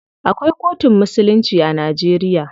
Akwai kotun musulunci a Najeriya.